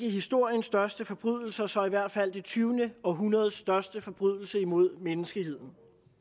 af historiens største forbrydelser så i hvert fald det tyvende århundredes største forbrydelse imod menneskeheden